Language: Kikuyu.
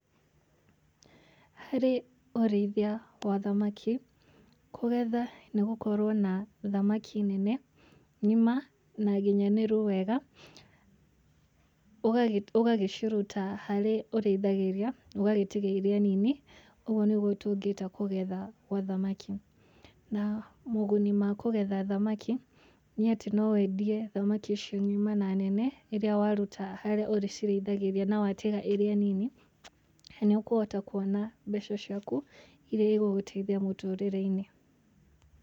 Harĩ ũrĩithia wa thamaki, kũgetha nĩ gũkorwo na thamaki nene ng'ima na nginyanĩru wega, ũgagĩciruta harĩa ũrĩithagĩria ũgagĩtiga irĩa nini ũguo nĩguo tũngĩta kũgetha gwa thamaki. Na moguni ma kũgetha thamaki nĩ atĩ no wendie thamaki icio ngima na nene ĩrĩa waruta harĩa ũcirĩithagĩria na watiga irĩa nini nĩ ũkũhota kuona mbeca ciaku irĩa igũgũteithia mũtũrĩre-inĩ.